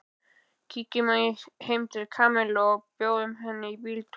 Kíkjum heim til Kamillu og bjóðum henni í bíltúr